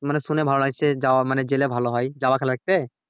মানে শুনে ভালো লাগছে যাওয়া জেলে ভালো হয় যাবা খেলা দেখতে?